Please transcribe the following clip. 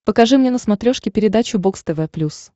покажи мне на смотрешке передачу бокс тв плюс